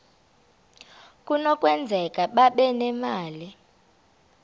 kunokwenzeka babe nemali